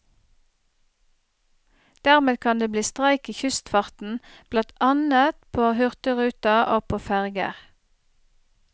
Dermed kan det bli streik i kystfarten, blant annet på hurtigruta, og på ferger.